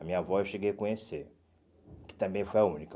A minha avó eu cheguei a conhecer, que também foi a única.